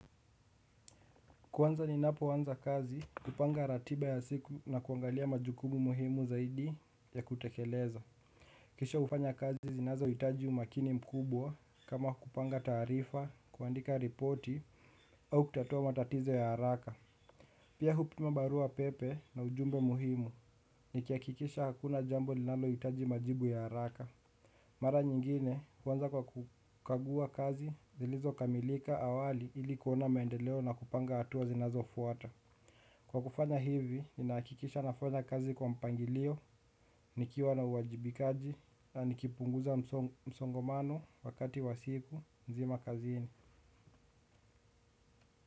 Kwanza ninapowanza kazi, kupanga ratiba ya siku na kuangalia majukumu muhimu zaidi ya kutekeleza. Kisha ufanya kazi zinazo hitaji umakini mkubwa kama kupanga tarifa, kuandika ripoti au kutatua matatizo ya haraka. Pia hupima barua pepe na ujumbe muhimu nikiakikisha hakuna jambo linalo hitaji majibu ya haraka. Mara nyingine, wanza kwa kukagua kazi zilizo kamilika awali ili kuona mendeleo na kupanga hatua zinazo fuata. Kwa kufanya hivi, ninaakikisha nafanya kazi kwa mpangilio, nikiwa na uwajibikaji, na nikipunguza msongomano wakati wa siku, nzima kazini.